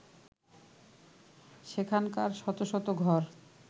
সেখানকার শত শত ঘর